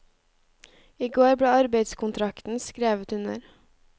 I går ble arbeidskontrakten skrevet under.